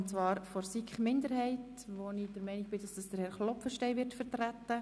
Den Antrag der SiK-Minderheit wird Grossrat Klopfenstein vertreten.